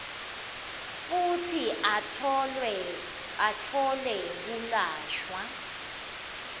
futsi atfole kwelashwa